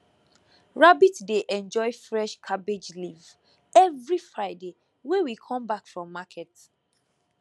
rabbit dey enjoy fresh cabbage leaf every friday wey we come back from market